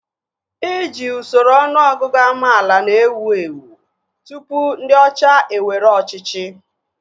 Iji usoro ọnụọgụgụ amaala na-ewu ewu tụpụ ndị ọcha ewere ọchịchị